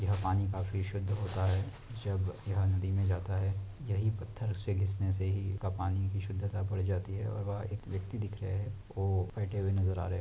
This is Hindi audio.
पानी काफी शुद्ध होता है जब ये नदी में जाता है यही पत्थर घिसने से ही पानी की शुद्धता बढ़ जाती है वः एक व्यक्ति दिख रीहा है वह बैठे हुए नजर आ रहे है |